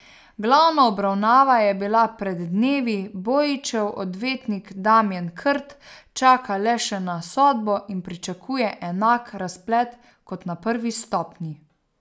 Glavna obravnava je bila pred dnevi, Bojićev odvetnik Damjan Krt čaka le še na sodbo in pričakuje enak razplet kot na prvi stopnji.